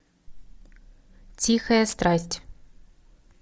тихая страсть